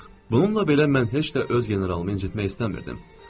Bununla belə, mən heç də öz generalımı incitmək istəmirdim.